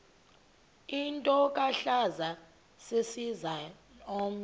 intlokohlaza sesisaz omny